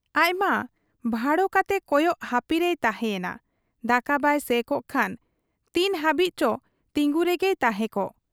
ᱟᱡᱢᱟ ᱵᱷᱟᱲᱚ ᱠᱟᱛᱮ ᱠᱚᱭᱚᱜ ᱦᱟᱹᱯᱤ ᱨᱮᱭ ᱛᱟᱦᱮᱸ ᱮᱱᱟ ᱾ ᱫᱟᱠᱟ ᱵᱟᱭ ᱥᱮᱻᱠᱚᱜ ᱠᱷᱟᱱ ᱛᱤᱱ ᱦᱟᱹᱵᱤᱡ ᱪᱚ ᱛᱤᱸᱜᱩ ᱨᱚᱝᱜᱮᱭ ᱛᱟᱦᱮᱸ ᱠᱚᱜ ?